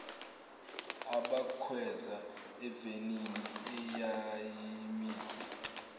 abakhweza evenini eyayimise